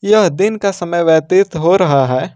यह दिन का समय व्यतीत हो रहा है।